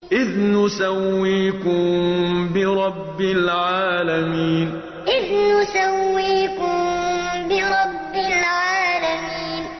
إِذْ نُسَوِّيكُم بِرَبِّ الْعَالَمِينَ إِذْ نُسَوِّيكُم بِرَبِّ الْعَالَمِينَ